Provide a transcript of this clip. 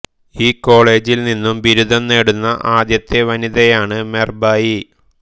ഈ കോളേജിൽ നിന്നും ബിരുദം നേടുന്ന ആദ്യത്തെ വനിതയാണ് മെർബായി